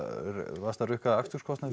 varstu að rukka aksturskostnað